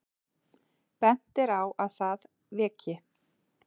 Bent er á að það veki